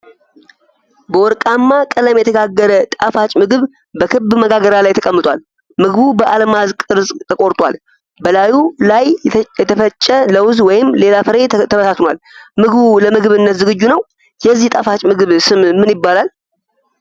በወርቃማ ቀለም የተጋገረ ጣፋጭ ምግብ በክብ መጋገሪያ ላይ ተቀምጧል። ምግቡ በአልማዝ ቅርጽ ተቆርጧል፤ በላዩ ላይ የተፈጨ ለውዝ ወይም ሌላ ፍሬ ተበታትኗል። ምግቡ ለምግብነት ዝግጁ ነው ፡፡ የዚህ ጣፋጭ ምግብ ስም ምን ይባላል?